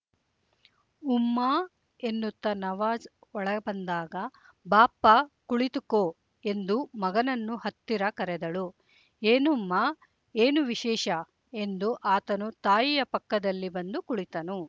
ಉಮ್ಮಾ ಎನ್ನುತ್ತಾ ನವಾಜ್ ಒಳ ಬಂದಾಗ ಬಾಪ್ಪ ಕುಳಿತುಕೊ ಎಂದು ಮಗನನ್ನು ಹತ್ತಿರ ಕರೆದಳು ಏನುಮ್ಮಾ ಏನು ವಿಶೇಷ ಎಂದು ಆತನು ತಾಯಿಯ ಪಕ್ಕದಲ್ಲಿ ಬಂದು ಕುಳಿತನು